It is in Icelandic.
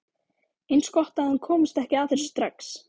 Eins gott að hann komist ekki að þessu strax